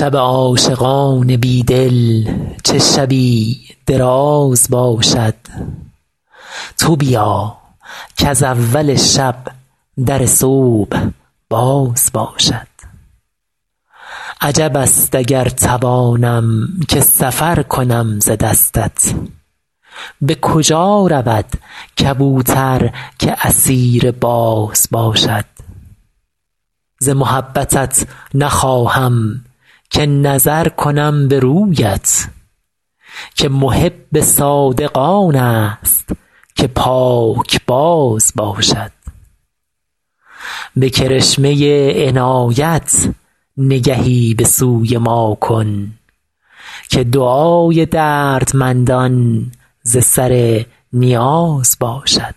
شب عاشقان بی دل چه شبی دراز باشد تو بیا کز اول شب در صبح باز باشد عجب است اگر توانم که سفر کنم ز دستت به کجا رود کبوتر که اسیر باز باشد ز محبتت نخواهم که نظر کنم به رویت که محب صادق آن است که پاکباز باشد به کرشمه عنایت نگهی به سوی ما کن که دعای دردمندان ز سر نیاز باشد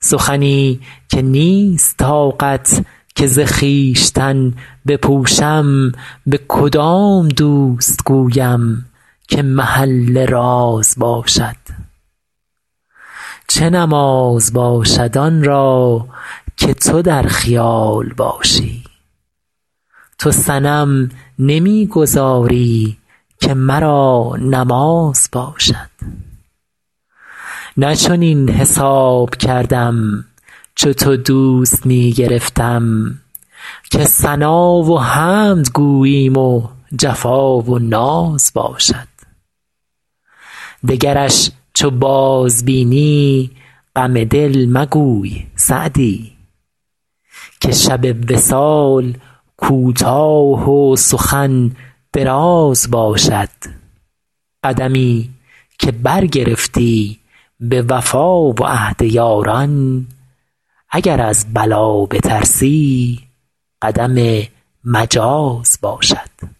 سخنی که نیست طاقت که ز خویشتن بپوشم به کدام دوست گویم که محل راز باشد چه نماز باشد آن را که تو در خیال باشی تو صنم نمی گذاری که مرا نماز باشد نه چنین حساب کردم چو تو دوست می گرفتم که ثنا و حمد گوییم و جفا و ناز باشد دگرش چو بازبینی غم دل مگوی سعدی که شب وصال کوتاه و سخن دراز باشد قدمی که برگرفتی به وفا و عهد یاران اگر از بلا بترسی قدم مجاز باشد